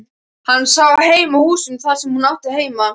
Hann sá heim að húsinu þar sem hún átti heima.